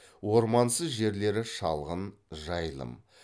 ормансыз жерлері шалғын жайылым